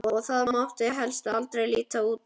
Og það mátti helst aldrei líta undan.